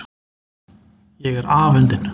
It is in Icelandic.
Ég er afundin.